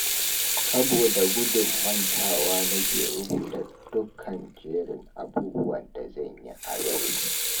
Saboda gudun mantuwa nake rubuta dukkan jerin abubuwan da zan yi a yau